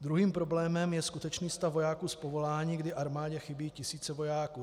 Druhým problémem je skutečný stav vojáků z povolání, kdy armádě chybí tisíce vojáků.